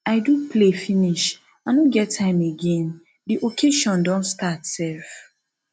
i do play finish i no get time again the occasion don start sef